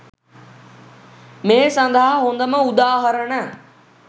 මේ සදහා හොදම උදාහරණ